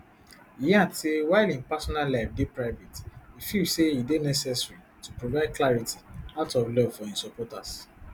e add say while im personal life dey private e feel say e dey necessary to provide clarity out of love for im supporters